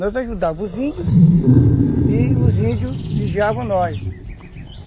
Nós ajudávamos os índios e os índios vigiavam nós.